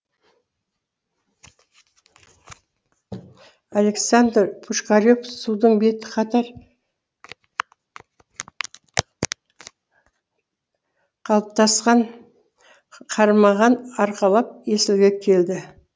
александр пушкарев судың беті қатар қатпастан қармағын арқалап есілге келді